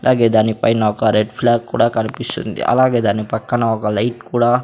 అలాగే దానిపైన ఒక రెడ్ ఫ్లాగ్ కూడా కనిపిస్తుంది అలాగే దాని పక్కన ఒక లైట్ కూడా--